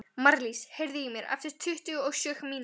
Marlís, heyrðu í mér eftir tuttugu og sjö mínútur.